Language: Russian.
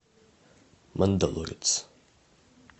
мандалорец